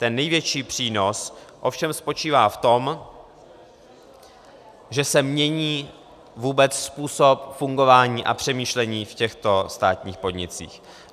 Ten největší přínos ovšem spočívá v tom, že se mění vůbec způsob fungování a přemýšlení v těchto státních podnicích.